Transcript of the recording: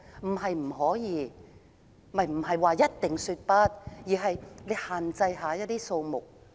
我們並非一定要說"不"，而是要限制遊客人數。